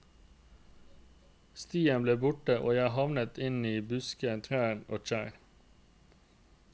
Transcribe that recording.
Stien ble borte, og jeg havnet inn i busker, trær og kjerr.